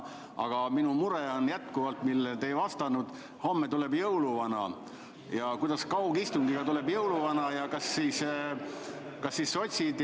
Aga minu mure on jätkuvalt see, millele te enne ei vastanud: homme tuleb jõuluvana – kuidas saab jõuluvana kaugistungi korral tulla?